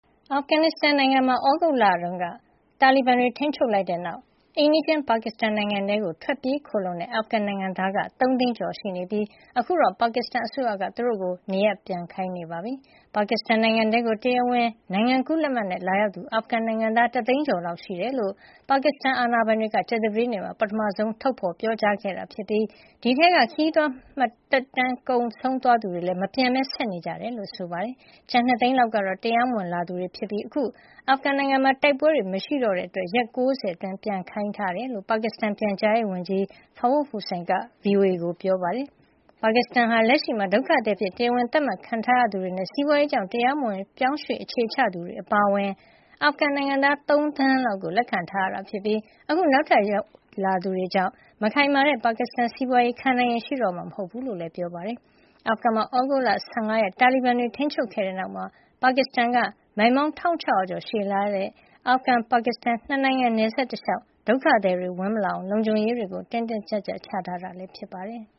အာဖဂန်နစ်စတန်နိုင်ငံမှာ သြဂုတ်လက တာလီဘန်တွေထိန်းချုပ်လိုက်တဲ့နောက် အိမ်နီးချင်းပါကစ္စတန် နိုင်ငံထဲ ထွက်ပြေးခိုလှုံတဲ့ အာဖဂန်နိုင်ငံသားက ၃ သိန်းကျော်ရှိနေပြီး အခုတော့ ပါကစ္စတန်အစိုးရက သူတို့ကို နေရပ်ပြန်ခိုင်းနေပါပြီ။ ပါကစ္စတန်နိုင်ငံထဲကို တရားဝင်နိုင်ငံကူးလက်မှတ်နဲ့ လာရောက်သူ အာဖဂန်နိုင်ငံသား ၁၀၅ ၀၀၀ လောက်ရှိတယ်လို့ ပါကစ္စတန်အာဏာပိုင်တွေက ကြာသပတေးနေ့မှာ ပထမဆုံးထုတ်ဖေါ်ပြောကြားခဲ့တာဖြစ်ပြီး ဒီအထဲက ခရီးသွား သက်တမ်း ကုန်သွားသူတွေကလည်း မပြန်ပဲဆက်နေနေကြတယ်လို့ ဆိုပါတယ်။ ကျန် ၂ သိန်းလောက်ကတော့ တရားမဝင်လာရောက်သူတွေ ဖြစ်ပြီး အခု အာဖဂန်နိုင်ငံမှာ တိုက်ပွဲတွေ မရှိတော့တဲ့အတွက် ရက်ပေါင်း ၉၀ အတွင်း ပြန်ခိုင်းထားတယ်လို့ ပါကစ္စတန်ပြန်ကြားရေးဝန်ကြီး Fawad Hussain က VOA ကို ပြောပါတယ်။ ပါကစ္စတန်နိုင်ငံဟာ လက်ရှိမှာ ဒုက္ခသည်အဖြစ် တရားဝင်သတ်မှတ်ခံရသူတွေနဲ့ စီးပွါးရေးကြောင့် တရားမဝင်ရွှေ့ပြောင်းအခြေချသူတွေ အပါအဝင် အာဖဂန်နိုင်ငံသား ၃ သန်းလောက်ကို လက်ခံထားရတာ ဖြစ်ပြီး အခုနောက်ထပ် ဝင်ရာက်လာသူတွေကြောင့် မခိုင်မာတဲ့ ပါကစ္စတန်စီးပွါးရေး ခံနိုင်ရည်ရှိတော့မှာ မဟုတ်ကြောင်းလည်း ပြောပါတယ်။ အာဖဂန်မှာ သြဂုတ်လ ၁၅ ရက် တာလီဘန်တွေ ထိန်းချုပ်ခဲ့တဲ့နောက် ပါကစ္စတန်က မိုင်ပေါင်း ၁၆၀၀ ကျော် ရှည်လျားတဲ့ အာဖဂန် - ပါကစ္စတန် ၂နိုင်ငံနယ်စပ် တလျှောက် ဒုက္ခသည်တွေဝင်မလာအောင် လုံခြုံရေးတွေ တင်းတင်းကြပ်ကြပ် ချထားတာ ဖြစ်ပါတယ်။